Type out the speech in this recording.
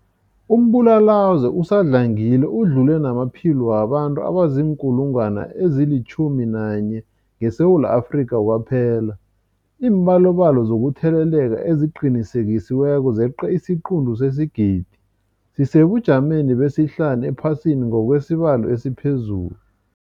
Umbulalazwe usadlangile udlule namaphilo wabantu abaziinkulungwana ezi-11 ngeSewula Afrika kwaphela. Iimbalobalo zokutheleleka eziqinisekisiweko zeqe isiquntu sesigidi, sisesebujameni besihlanu ephasini ngokwesibalo esiphezulu.